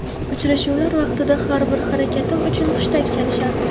Uchrashuvlar vaqtida har bir harakatim uchun hushtak chalishardi.